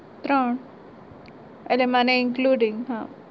ત્રણ એટલે મને include હમ